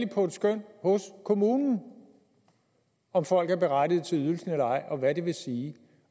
på et skøn hos kommunen om folk er berettigede til ydelsen eller ej og hvad det vil sige